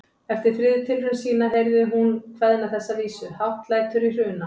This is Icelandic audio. Eftir þriðju tilraun sína til þess heyrði hún kveðna þessa vísu: Hátt lætur í Hruna